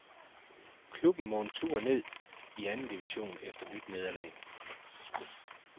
Klubben må en tur ned i anden division efter nyt nederlag.